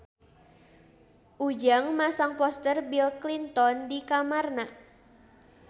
Ujang masang poster Bill Clinton di kamarna